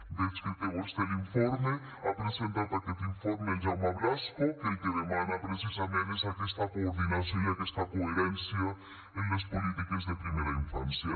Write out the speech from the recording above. veig que té vostè l’informe ha presentat aquest informe el jaume blasco que el que demana precisament és aquesta coordinació i aquesta coherència en les polítiques de primera infància